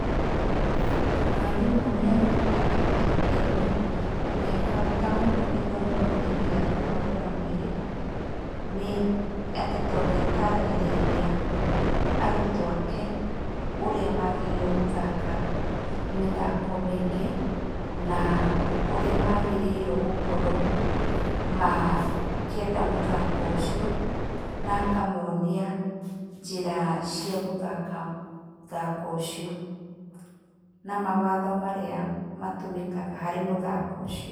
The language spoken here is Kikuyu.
Mwarimũ nĩ anyitaga itemi rĩa bata mũno gĩthomo-inĩ gĩa kũnogora mwĩrĩ, nĩ atĩ tondũ nĩataragĩrĩria arutwo ake ũrĩa magĩrĩirwo gũthaka mĩthako mĩingĩ na ũrĩa magĩrĩirwo gũkorwo makĩenda mũthako ũcio, na akamonia njĩra cia gũthaka mũthako ũcio, na mawatho marĩa matũmĩkaga harĩ mũthako ũcio.